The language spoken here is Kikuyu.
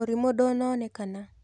Mũrimũ ndũnaonekana.